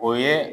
O ye